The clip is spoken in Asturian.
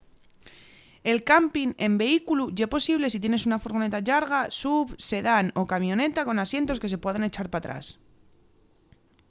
el campin en vehículu ye posible si tienes una furgoneta llarga suv sedán o camioneta con asientos que se puedan echar p’atrás